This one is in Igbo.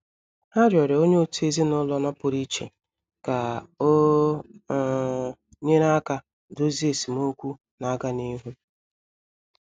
Ha rịọrọ onye otu ezinụlọ nọpụrụ iche ka o um nyere aka dozie esemokwu na-aga n'ihu.